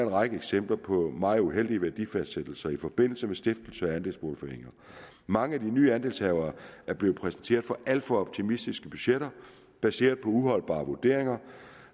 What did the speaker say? række eksempler på meget uheldige værdifastsættelser i forbindelse med stiftelser af andelsboligforeninger mange af de nye andelshavere er blevet præsenteret for alt for optimistiske budgetter baseret på uholdbare vurderinger